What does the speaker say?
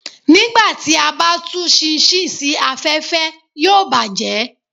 Nígbà tí a bá tú ṣinṣin sí afẹ́fẹ́, yóò bàjẹ́